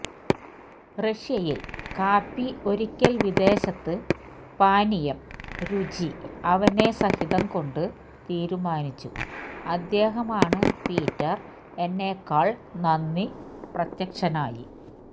റഷ്യയിൽ കാപ്പി ഒരിക്കൽ വിദേശത്ത് പാനീയം രുചി അവനെ സഹിതം കൊണ്ട് തീരുമാനിച്ചു അദ്ദേഹമാണ് പീറ്റർ എന്നെക്കാൾ നന്ദി പ്രത്യക്ഷനായി